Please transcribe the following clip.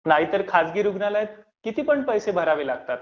नाहीतर खाजगी रुग्णालयात कितीपण पैसे भरावे लागतात.